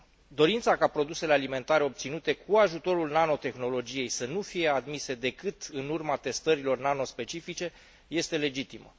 Dorința ca produsele alimentare obținute cu ajutorul nanotehnologiei să nu fie admise decât în urma testărilor nanospecifice este legitimă.